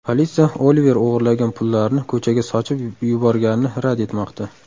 Politsiya Oliver o‘g‘irlagan pullarini ko‘chaga sochib yuborganini rad etmoqda.